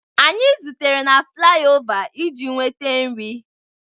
Anyị zutere na flaiova iji nweta nri.